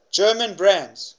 german brands